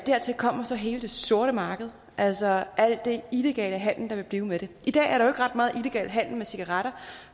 dertil kommer så hele det sorte marked altså al den illegale handel der vil blive med dem i dag er der ret meget illegal handel med cigaretter